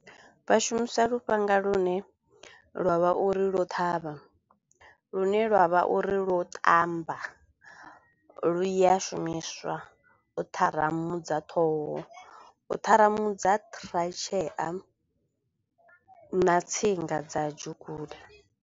Vha shumisa lufhanga lune lwavha uri lwo ṱhavha, lu ne lwa vha uri lwo ṱamba lu ya shumiswa u tharamudza ṱhoho, u ṱharamudza ṱhiratshea na tsinga dza .